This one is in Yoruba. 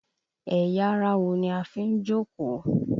Ẹ̀yà ara wo ni a fi ń jókòó?